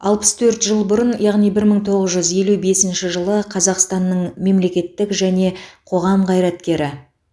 алпыс төрт жыл бұрын яғни бір мың тоғыз жүз елу бесінші жылы қазақстанның мемлекеттік және қоғам қайраткері